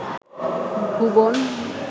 ভুবন